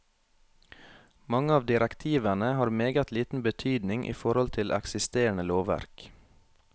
Mange av direktivene har meget liten betydning i forhold til eksisterende lovverk.